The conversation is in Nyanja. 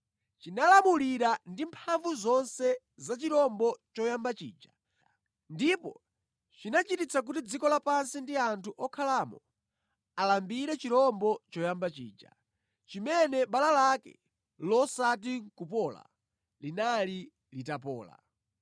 Chinalamulira ndi mphamvu zonse za chirombo choyamba chija, ndipo chinachititsa kuti dziko lapansi ndi anthu okhalamo alambire chirombo choyamba chija, chimene bala lake losati nʼkupola linali litapola.